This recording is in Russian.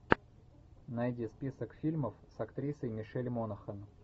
найди список фильмов с актрисой мишель монахэн